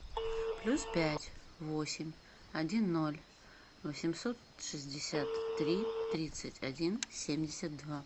плюс пять восемь один ноль восемьсот шестьдесят три тридцать один семьдесят два